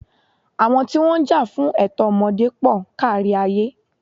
Àwọn tí wọ́n ń jà fún ẹ̀tọ́ ọmọdé pọl kárí ayé.